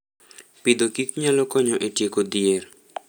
Agriculture and Food nyalo konyo e tieko dhier.